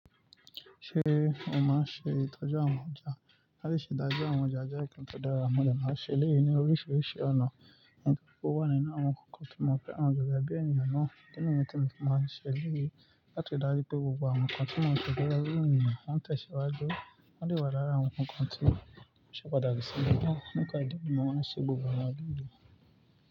Ṣé o maa n ṣe ìtọ́jú àwọn ọjà? Láti ṣe ìdájọ́ àwọn ọjà je nkan tó dára, mọ́ de máa ṣe eléyìí ní oríṣiríṣi ọ̀nà. O wà nínú àwọn kankan to mọ̀fẹ́ran gege bi ènìyàn náà. Idi niyen tí mo fi maa n ṣe eléyìí láti ri dáju pé gbogbo àwọn kan ti mo ṣo pé ọ́ gbẹ́ luu. Wọ́n n tẹ̀síwájú, wọ́n de wà lára àwọn kankan ti. Ṣé o padà rí sibi náà? Nípa ìdí mi, mo ń ṣe gbogbo àwọn ìdí mi.